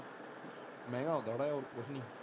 ਮਹਿੰਗਾ ਹੁੰਦਾ ਥੌੜ੍ਹਾ ਜਿਹਾ ਹੋਰ ਕੁਝ ਨਹੀ।